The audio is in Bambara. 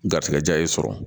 Garisigɛ ja ye sɔrɔ